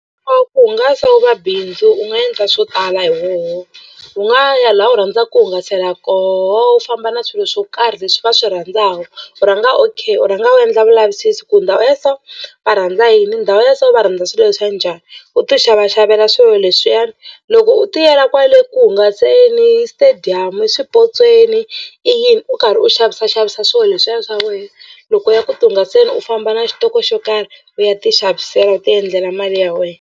Ku hungasa wu va bindzu u nga endla swo tala hi wona u nga ya laha u rhandzaka ku hungasela koho u famba na swilo swo karhi leswi va swi rhandzaka u rhanga u okay u rhanga u endla vulavisisi ku ndhawu ya so va rhandza yini ndhawu ya so va rhandza swilo swa njhani u tixavaxavela swilo leswiyani loko u tiyela kwale ku hungaseni stadium swipotsweni i yini u karhi u xavisaxavisa swilo leswiya swa wena loko u ya ku tihungaseni u famba na xitoko xo karhi u ya tixavisela u tiendlela mali ya wena.